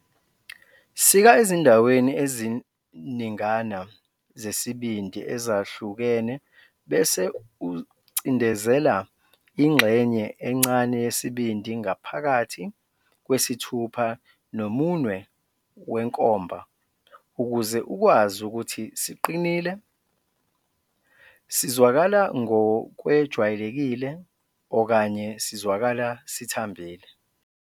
Sika ezindaweni eziningana zesibindi ezahlukene bese ucindezela ingxenye encane yesibindi ngaphakathi kwesithupha nomunwe wenkomba ukuze ukwazi ukuthi siqinile, sizwakala ngokwejwayelekile okanye sizwakala sithambile.